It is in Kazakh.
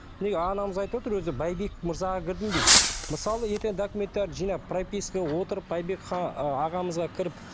міне анамыз айтып отыр өзі байбек мырзаға кірдім дейді мысалы ертең документтерді жинап пропискаға отырып байбек ы ағамызға кіріп